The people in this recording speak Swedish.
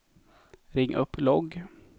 ring upp logg